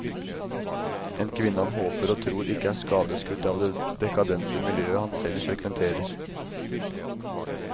En kvinne han håper og tror ikke er skadeskutt av det dekadente miljøet han selv frekventerer.